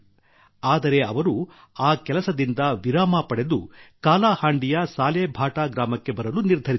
ಆದರೆ ಅವರು ಆ ಕೆಲಸದಿಂದ ವಿರಾಮ ಪಡೆದು ಕಾಲಾಹಾಂಡಿಯ ಸಾಲೇಭಾಟಾ ಗ್ರಾಮಕ್ಕೆ ಬರಲು ನಿರ್ಧರಿಸಿದರು